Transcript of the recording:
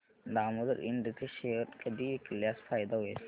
दामोदर इंड चे शेअर कधी विकल्यास फायदा होईल